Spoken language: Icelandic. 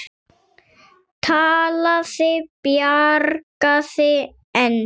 Talaði bjagaða ensku